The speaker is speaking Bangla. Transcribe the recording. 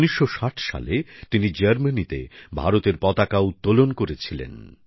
১৯৬০ সালে তিনি জার্মানিতে ভারতের পতাকা উত্তোলন করেছিলেন